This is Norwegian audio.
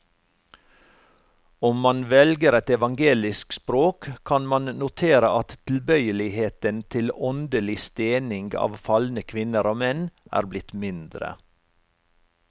Om man velger et evangelisk språk, kan man notere at tilbøyeligheten til åndelig stening av falne kvinner og menn er blitt mindre.